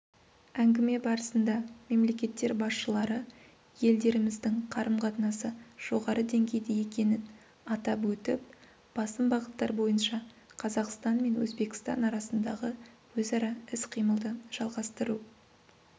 әңгіме барысында мемлекеттер басшылары елдеріміздің қарым-қатынасы жоғары деңгейде екенін атап өтіп басым бағыттар бойынша қазақстан мен өзбекстан арасындағы өзара іс-қимылды жалғастыру